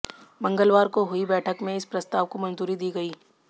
मंगलवार को हुई बैठक में इस प्रस्ताव को मंजूरी दी गई